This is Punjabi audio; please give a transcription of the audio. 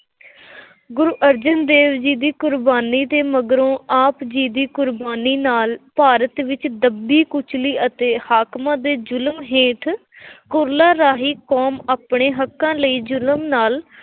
ਗੁਰੂ ਅਰਜਨ ਦੇਵ ਜੀ ਦੀ ਕੁਰਬਾਨੀ ਦੇ ਮਗਰੋਂ ਆਪ ਦੀ ਕੁਰਬਾਨੀ ਨਾਲ ਭਾਰਤ ਵਿੱਚ ਦੱਬੀ-ਕੁਚਲੀ ਅਤੇ ਹਾਕਮਾਂ ਦੇ ਜ਼ੁਲਮ ਹੇਠ ਕੁਰਲਾ ਰਹੀ ਕੌਮ ਆਪਣੇ ਹੱਕਾਂ ਲਈ ਜ਼ੁਲਮ ਨਾਲ